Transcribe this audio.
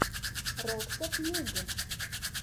роксо пьюг